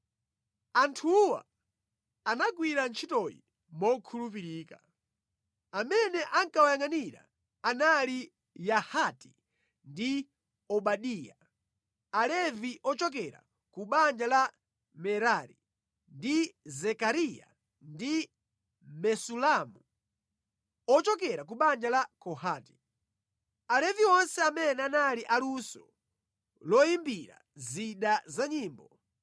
Anthuwa anagwira ntchitoyi mokhulupirika. Amene ankawayangʼanira anali Yahati ndi Obadiya, Alevi ochokera ku banja la Merari, ndi Zekariya ndi Mesulamu ochokera ku banja la Kohati. Alevi onse amene anali aluso loyimbira zida za nyimbo